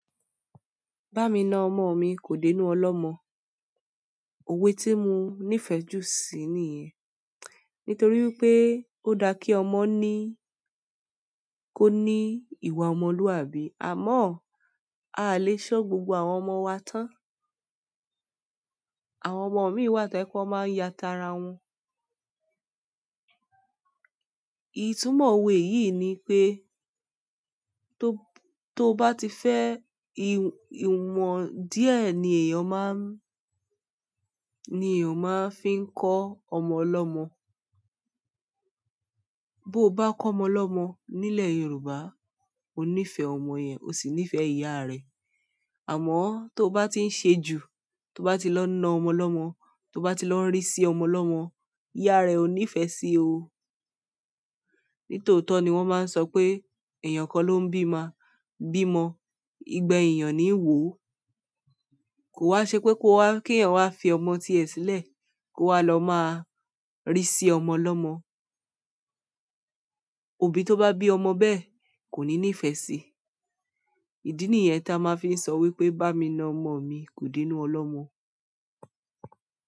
Bá mi na ọmọ mi kò dé inú ọlọ́mọ. Òwe tí mo nífẹ̀ẹ́ jù sí ni yẹn. Nítorí wipé ó dá kí ọmọ ní, kó ní ìwà ọmọlúàbí. Àmọ́, a lè ṣọ gbogbo àwọn ọmọ wa tán. Àwọn ọmọ mi wà to je wípé wọ́n máa ń yá tara wọn. Ìtumọ̀ òwe yìí ni pé, tó, tó bá ti fẹ́ ìwọ̀n díẹ̀ ni èèyàn máa ń, ni èèyàn máa fi ń kọ́ ọmọ lọ́mọ. Bó bá kọ́ ọmọ lọ́mọ nílẹ̀ Yorùbá, o níí fẹ ọmọ yẹn, o sì níí fẹ ìyá rẹ̀. Àmọ́ tó bá ti ń se ju, tó bá ti lọ na ọmọ lọ́mọ, tó bá ti lọ ri sí ọmọ lọ́mọ, ìyá rẹ ò ní ìfẹ́ sí o. Nítòótọ́ ni wọ́n máa ń sọ pé èèyàn kan ló ń bímọ, bí mọ, ìgbà èèyàn níi wo kò wa ṣe pé kí èèyàn wá fi ọmọ tiẹ̀ sílẹ̀, kó wá lọ máa rí sí ọmọ lọ́mọ. Òbí to ba bi ọmọ bẹ́ẹ̀ koni nife si ìdí nìyẹn táa máa ń fi sọ wípé "bá mi na ọmọ mi kò dé inú ọlọ́mọ".